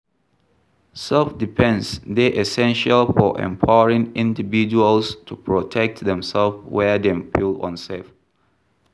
Self-defense dey essential for empowering individuals to protect themself where dem feel unsafe.